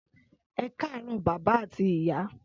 Ẹkarọ bàbá ati ìyá